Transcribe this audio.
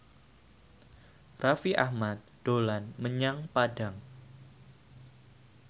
Raffi Ahmad dolan menyang Padang